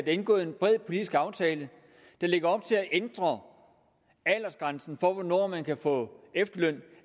indgået en bred politisk aftale der lægger op til at ændre aldersgrænsen for hvornår man kan få efterløn